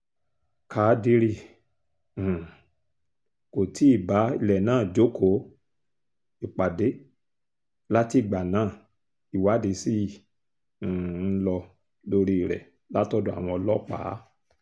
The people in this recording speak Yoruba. kádírì um kò tí ì bá ilẹ̀ náà jókòó ìpàdé látìgbà náà ìwádìí ṣì um ń lọ lórí rẹ̀ látọ̀dọ̀ àwọn ọlọ́pàá